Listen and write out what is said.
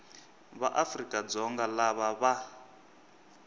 va afrika dzonga lava va